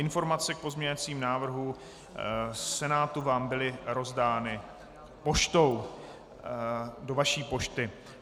Informace k pozměňovacím návrhům Senátu vám byly rozdány poštou, do vaší pošty.